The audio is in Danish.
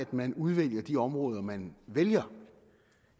man udvælger de områder man vælger